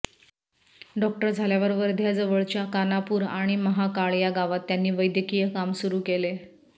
doctor झाल्यावर वर्ध्याजवळच्या कान्हापूर आणि महाकाळ या गावात त्यांनी वैद्यकीय काम सुरू केले